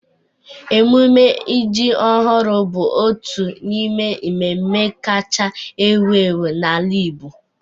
Emume ji ọhụrụ bụ otu n'ime mmemme kacha ewu ewu n'ala Igbo.